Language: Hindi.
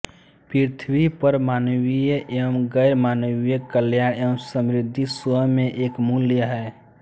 पृथ्वी पर मानवीय एवं गैरमानवीय कल्याण एवं समृद्धि स्वयं में एक मूल्य है